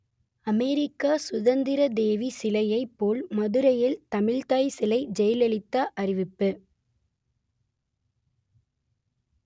அமெரிக்க சுதந்திரதேவி சிலையைப் போல் மதுரையில் தமிழ்த்தாய் சிலை ஜெயலலிதா அறிவிப்பு